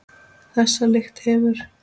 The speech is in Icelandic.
Þessa lykt hefur